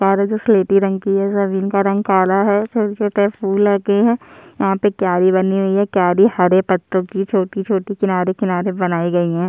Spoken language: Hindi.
कार जो है की ओह स्लेटी रंग की है और जमीन का रंग काला है छोटे-छोटे फुल लगे है यहाँ पे क्यारी बनी हुई है हरे पत्तो की छोटी-छोटी किनारे-किनारे बनाई गयी है। --